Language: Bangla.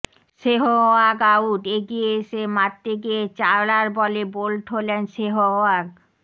সেহওয়াগ আউট এগিয়ে এসে মারতে গিয়ে চাওলার বলে বোল্ড হলেন সেহওয়াগ